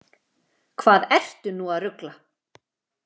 Hvað ertu nú að rugla!